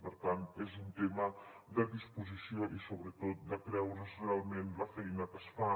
per tant és un tema de disposició i sobretot de creure’s realment la feina que es fa